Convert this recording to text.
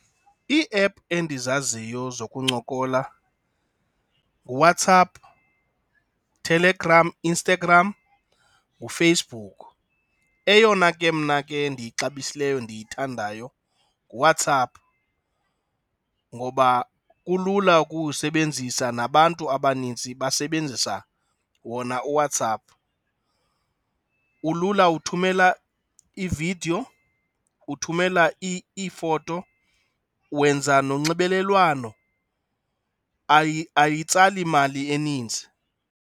Ii-app endizaziyo zokuncokola nguWhatsApp, Telegram, Instagram nguFacebook. Eyona ke mna ke ndiyixabisileyo, ndiyithandayo nguWhatsApp ngoba kulula ukuwusebenzisa nabantu abaninzi basebenzisa wona uWhatsApp. Ulula, uthumela iividiyo, uthumela iifoto, wenza nonxibelelwano, ayitsali mali eninzi.